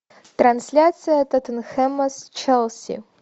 трансляция тоттенхэма с челси